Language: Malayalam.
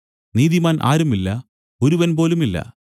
നീതിമാൻ ആരുമില്ല ഒരുവൻ പോലുമില്ല